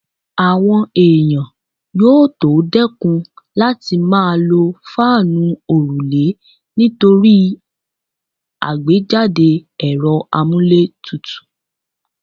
Àwọn èèyàn yóò tó dẹ́kùn láti máa lo fáànù òrùlé nítorí àgbéjáde ẹ̀rọ amúlétutù